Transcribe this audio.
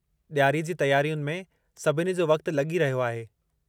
ॾियारीअ जी तयारियुनि में सभिनी जो वक़्तु लॻी रहियो आहे।